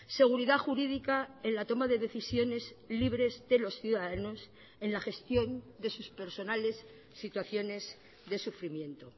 seguridad jurídica en la toma de decisiones libres de los ciudadanos en la gestión de sus personales situaciones de sufrimiento